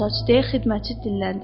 Deyə xidmətçi dilləndi.